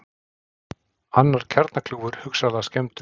Annar kjarnakljúfur hugsanlega skemmdur